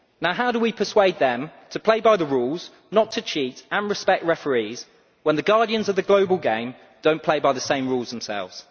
How do we persuade them to play by the rules, not to cheat and to respect referees, when the guardians of the global game do not play by the same rules themselves?